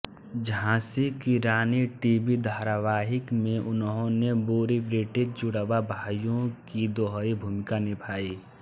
झांसी की रानी टीवी धारावाहिक में उन्होंने बुरी ब्रिटिश जुड़वां भाइयों की दोहरी भूमिका निभाई